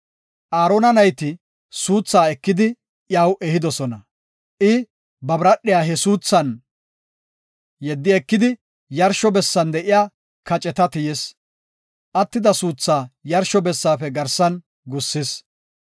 Aarona nayti suuthaa ekidi iyaw ehidosona; I, ba biradhiya he suuthan yeddi ekidi, yarsho bessan de7iya kaceta tiyis; attida suuthaa yarsho bessaafe garsan gussis.